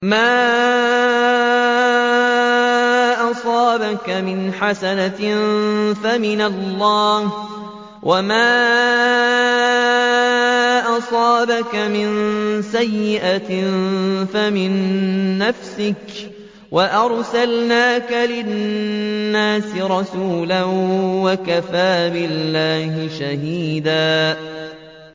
مَّا أَصَابَكَ مِنْ حَسَنَةٍ فَمِنَ اللَّهِ ۖ وَمَا أَصَابَكَ مِن سَيِّئَةٍ فَمِن نَّفْسِكَ ۚ وَأَرْسَلْنَاكَ لِلنَّاسِ رَسُولًا ۚ وَكَفَىٰ بِاللَّهِ شَهِيدًا